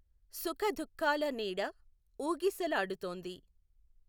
సుఖదుఃఖాల నీడ ఊగిసలాడుతోంది.